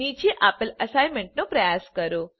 નીચે આપેલ અસાઇનમેન્ટનો પ્રયાસ કરો